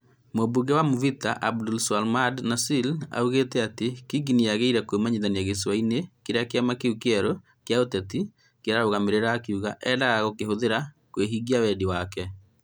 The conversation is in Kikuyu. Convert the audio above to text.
Mũmbunge wa Mvita Abdulswamad Nassir oigire atĩ Kingi nĩ aagĩire kũmenyithania gĩcũa-inĩ kĩrĩa kĩama kĩu kĩerũ kĩa ũteti kĩarũgamagĩrĩra, akiuga "endaga gũkĩhũthĩra kũhingia wendi wake".